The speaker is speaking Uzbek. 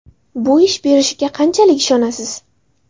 Bu ish berishiga qanchalik ishonasiz?